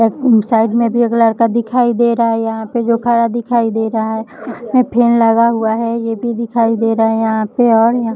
side में भी एक लड़का दिखाई दे रहा है यहाँ पे जो खड़ा दिखाई दे रहा है फैन लगा हुआ है ये भी दिखाई दे रहा है यहाँ पे और --